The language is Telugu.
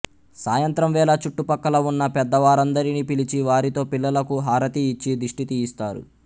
సాయంత్రం వేళ చుట్టుపక్కల ఉన్న పెద్దవారందరినీ పిలిచి వారితో పిల్లలకు హారతి ఇచ్చి దిష్టి తీయిస్తారు